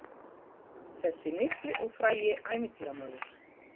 Þessi mikli og frægi ævintýramaður!